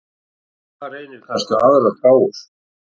Þar reynir kannski á aðrar gáfur.